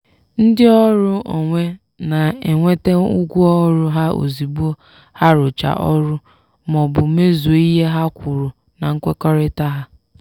ndị ọrụ onwe na-enweta ụgwọ ọrụ ha ozigbo ha rụchara ọrụ ma ọ bụ mezuo ihe ha kwuru na nkwekọrịta ha.